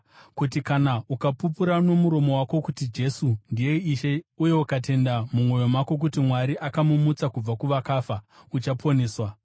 Kuti kana ukapupura nomuromo wako kuti, “Jesu ndiye Ishe” uye ukatenda mumwoyo mako kuti Mwari akamumutsa kubva kuvakafa, uchaponeswa.